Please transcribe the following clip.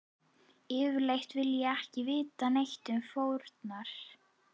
Yfirleitt vil ég ekki vita neitt um fórnar